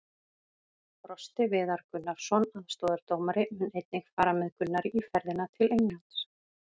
Frosti Viðar Gunnarsson, aðstoðardómari, mun einnig fara með Gunnari í ferðina til Englands.